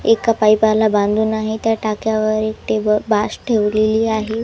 एका पाईपाला बांधून आहे त्या टाक्यावर एक टेबल बास ठेवलेली आहे.